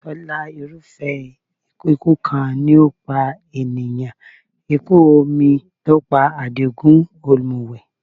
Tọ́lá, irúfẹ́ ikú kan ni yóò pa ènìyàn. Ikú omi ló pa Àdìgún ọ̀mùwẹ̀.